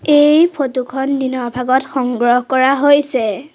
এই ফটো খন দিনৰ ভাগত সংগ্ৰহ কৰা হৈছে।